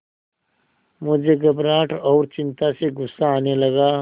मुझे घबराहट और चिंता से गुस्सा आने लगा